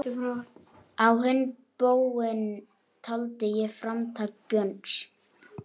Á hinn bóginn taldi ég framtak Björns